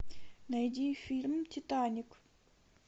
найди фильм титаник